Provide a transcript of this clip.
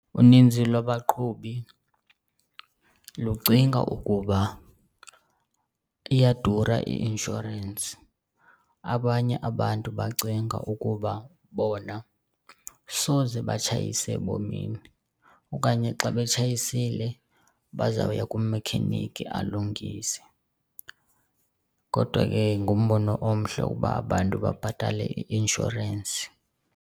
Uninzi lwabaqhubi lucinga ukuba iyadura i-inshorensi, abanye abantu bacinga ukuba bona soze batshayise ebomini okanye xa betshayisile bazawuya kumekhenikhi alungise. Kodwa ke ngumbono omhle ukuba abantu babhatale i-inshorensi.